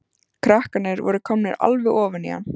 Krakkarnir voru komnir alveg ofan í hann.